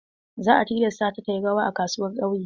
Za a tilasta ta ta yi rawa a kasuwar ƙauye.